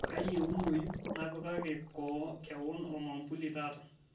kayieunoyu nanapaki kewon ormambuli taata